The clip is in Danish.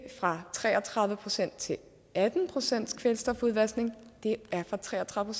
fra tre og tredive procent til atten procent i kvælstofudvaskning men fra tre og tredive